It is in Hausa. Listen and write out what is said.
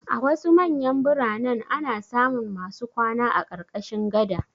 A wasu manyan biranen ana samun masu kwana a ƙarƙashin gada.